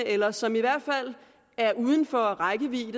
eller som i hvert fald er uden for rækkevidde